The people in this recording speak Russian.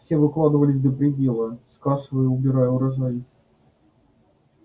все выкладывались до предела скашивая и убирая урожай